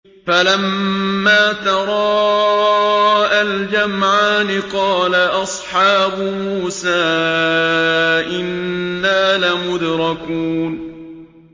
فَلَمَّا تَرَاءَى الْجَمْعَانِ قَالَ أَصْحَابُ مُوسَىٰ إِنَّا لَمُدْرَكُونَ